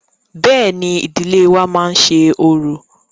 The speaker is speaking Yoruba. Bẹ́ẹ̀ni, ìdílé wa má ń ṣe orò.